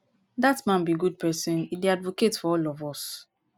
dat man be good person e dey advocate for all of us